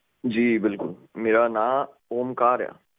ਜੀ ਬਿਲਕੁਲ ਮੇਰਾ ਨਾਮ ਓਮਕਾਰ ਹੈ